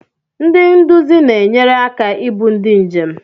Ndị nduzi na-enyere aka ibu ndị njem.